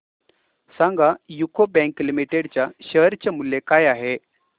सांगा UCO bank limited च्या share चे मूल्य काय आहे